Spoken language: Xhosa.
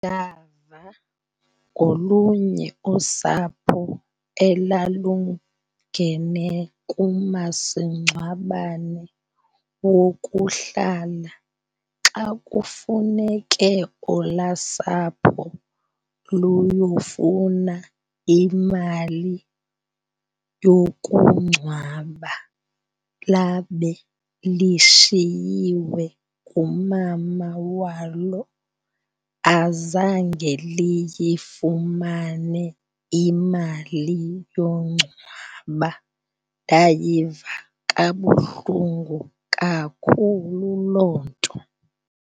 Ndava ngolunye usapho elalungene kumasingcwabane wokuhlala xa kufuneke olwaa sapho luyofuna imali yokungcwaba labe lishiyiwe ngumama walo, azange liyifumane imali yongcwaba. Ndayiva kabuhlungu kakhulu loo nto.